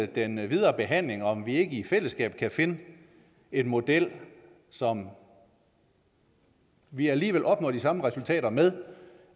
den videre behandling om vi ikke i fællesskab kan finde en model som vi alligevel opnår de samme resultater med